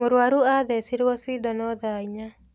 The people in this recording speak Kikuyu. Mũrũaru athecirwo cindano thaa inya.